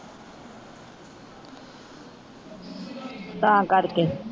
ਤਾਂ ਕਰ ਕੇ